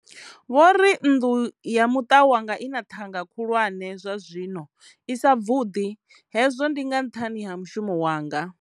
Vho ri nnḓu ya muṱa wanga i na ṱhanga khulwane zwa zwi no, i sa bvuḓi, hezwo ndi nga nṱhani ha mushumo wanga.